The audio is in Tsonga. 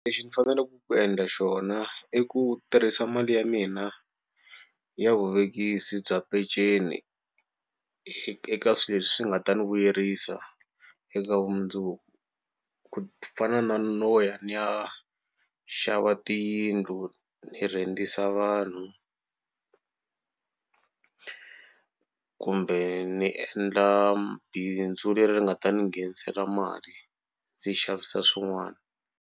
Lexi ni faneleke ku endla xona i ku tirhisa mali ya mina ya vuvekisi bya peceni eka swilo leswi nga ta ni vuyerisa eka vumundzuku ku fana na no ya ni ya xava tiyindlu ni rhentisa vanhu kumbe ni endla bindzu leri nga ta ni nghenisela mali ndzi xavisa swin'wana.